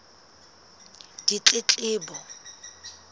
ditletlebo